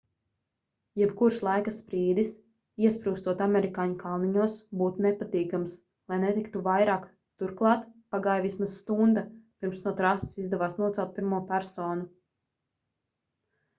jebkurš laika sprīdis iesprūstot amerikāņu kalniņos būtu nepatīkams lai neteiktu vairāk turklāt pagāja vismaz stunda pirms no trases izdevās nocelt pirmo personu